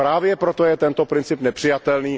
Právě proto je tento princip nepřijatelný.